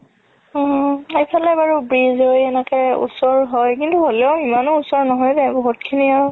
অ এইফালে কিন্তু ওচৰ হয় কিন্তু হ'লেও ইমানও ওচৰ নহয় বহুত খিনি আৰু